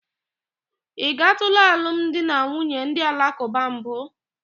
Ị gatụla alụmdinanwunye ndị alakụba mbụ?